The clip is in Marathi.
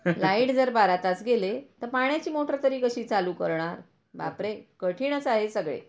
ter लाइट जर बारा तास गेले तर पाण्याची मोटर तरी कशी चालू करणार. बापरे, कठीणच आहे सगळे.